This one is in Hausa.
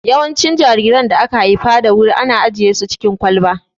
Yawancin jariran da aka haifa da wuri ana ajiye su cikin kwalba